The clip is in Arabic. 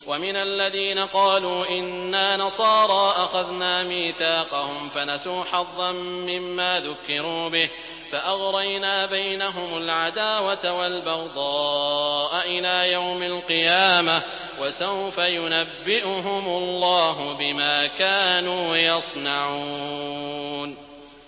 وَمِنَ الَّذِينَ قَالُوا إِنَّا نَصَارَىٰ أَخَذْنَا مِيثَاقَهُمْ فَنَسُوا حَظًّا مِّمَّا ذُكِّرُوا بِهِ فَأَغْرَيْنَا بَيْنَهُمُ الْعَدَاوَةَ وَالْبَغْضَاءَ إِلَىٰ يَوْمِ الْقِيَامَةِ ۚ وَسَوْفَ يُنَبِّئُهُمُ اللَّهُ بِمَا كَانُوا يَصْنَعُونَ